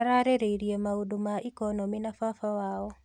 Ararĩrĩirie maundũ ma economĩ na baba wao.